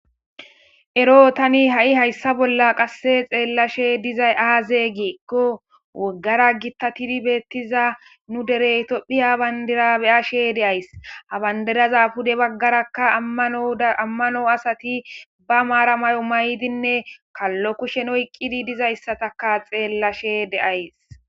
ero tani ha7i hayssa bolla qasse xeellashe dizay aaze geekko woggara gitta tidi beettiza nu dereytopphiya bandira beyashe deays habandidaza pude baggarakka ammano asati ba maara may7o may7dinne kallo kushen oyqqidi dizayssataka xeellashe deays